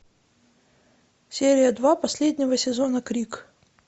серия два последнего сезона крик